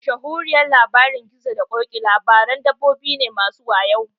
Mashahuriyar Labarin gizo da ƙoki labaran dabbobi ne masu wayo